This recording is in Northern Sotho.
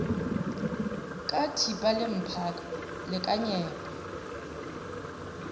ka thipa le mphaka lekanyetpa